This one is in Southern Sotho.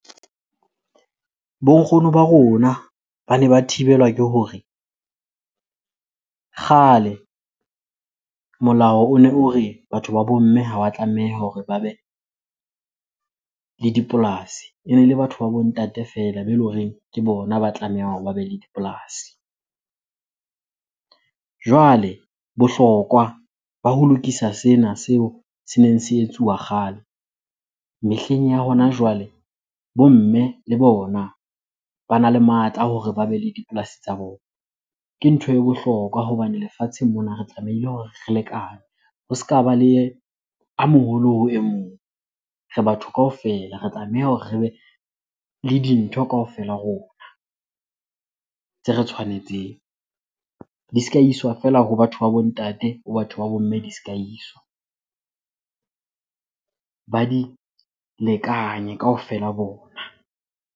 Bo nkgono ba rona bane ba thibelwa ke hore kgale molao one o re batho ba bo mme ha wa tlameha hore ba be le dipolasi. Ene le batho ba bo ntate feela moo be le horeng ke bona ba tlamehang hore ba be le dipolasi. Jwale bohlokwa ba ho lokisa sena seo se neng se etsuwa kgale, mehleng ya hona jwale bo mme le bona bana le matla a hore ba bele dipolasi tsa bona. Ke ntho e bohlokwa hobane lefatsheng mona re tlamehile hore re lekane. Ho se ka ba le a moholo ho e mong, re batho kaofela re tlameha hore re be le dintho kaofela rona tse re tshwanetseng. Di se ka iswa feela ho batho ba bo ntate, ho batho ba bo mme di se ka iswa. Ba di lekanye kaofela bona.